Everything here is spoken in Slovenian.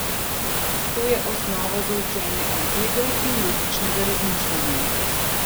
To je osnova za učenje algebre in logičnega razmišljanja.